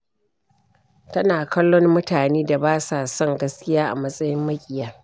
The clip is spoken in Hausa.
Tana kallon mutanen da ba sa son gaskiya a matsayin maƙiya.